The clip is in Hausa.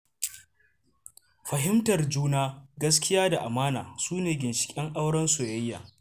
Fahimtar juna, gaskiya da amana su ne ginshiƙan auren soyaya.